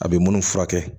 A bɛ munnu furakɛ